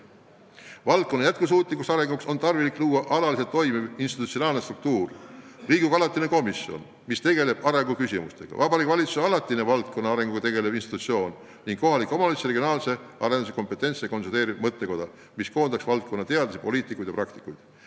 Valdkonna jätkusuutliku arengu tagamiseks tuleks luua alaliselt toimiv institutsionaalne struktuur: Riigikogu arengukomisjon, Vabariigi Valitsuse alaline valdkonna arenguga tegelev institutsioon ning kompetentse kohaliku ja regionaalse arenduse konsolidaarne mõttekoda, mis koondaks valdkonna teadlasi, poliitikuid ja praktikuid.